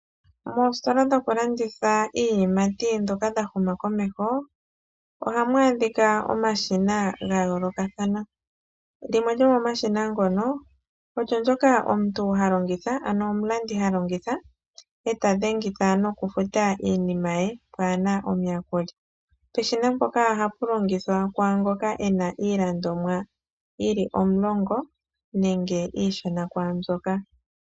Moostola dhoka dhoku landitha iiyimati dhoka dha huma komeho ohamu adhika omashina ga yoolokathana limwe lyomomashina ngono olyo ndyoka omuntu ha longitha ano omulandi ha longitha e ta dhengitha noku futa iinima ye pwaana omuyakuli. Peshina mpoka ohapu longithwa kwaangoka ena iilandomwa yili omulongo nenge iishona kwaambyoka.